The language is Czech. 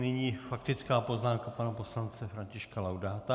Nyní faktická poznámka pana poslance Františka Laudáta.